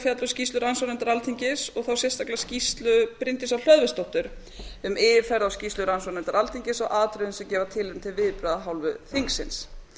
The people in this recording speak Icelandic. fjalla um skýrslu rannsóknarnefndar alþingis og þá sérstaklega skýrslu bryndísar hlöðversdóttur um yfirferð á skýrslu rannsóknarnefndar alþingis á atriðum sem gefa tilefni til viðbragða af hálfu þingsins